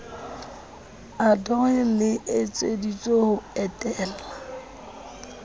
ndoh le etseditswe ho etella